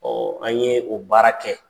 an ye o baara kɛ.